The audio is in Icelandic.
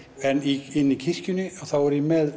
en í kirkjunni þá er ég með